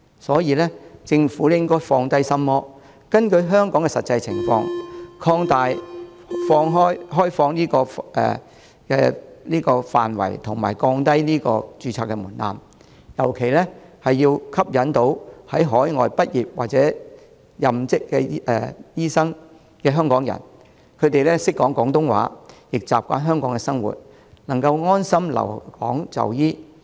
所以，政府應該放下心魔，根據香港的實際情況，擴大開放的範圍及降低註冊門檻，尤其要吸引在海外畢業或任職醫生的香港人，他們懂廣東話，習慣香港生活，能夠安心留港就醫。